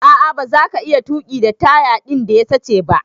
A'a baza ka iya tuki da taya din da ya sache ba.